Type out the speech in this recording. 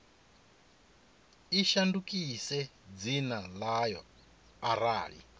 i shandukise dzina ḽayo arali